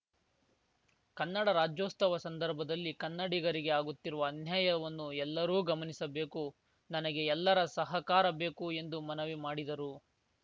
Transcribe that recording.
ಕನ್ನಡ ರಾಜ್ಯೋತ್ಸವ ಸಂದರ್ಭದಲ್ಲಿ ಕನ್ನಡಿಗರಿಗೆ ಆಗುತ್ತಿರುವ ಅನ್ಯಾಯವನ್ನು ಎಲ್ಲರೂ ಗಮನಿಸಬೇಕು ನನಗೆ ಎಲ್ಲರ ಸಹಕಾರ ಬೇಕು ಎಂದು ಮನವಿ ಮಾಡಿದರು